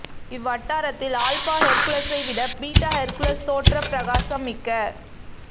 இவ்வட்டாரத்தில் alpha ஹெர்குலசை விடப் beta Hercules தோற்றப் பிரகாசம் மிக்க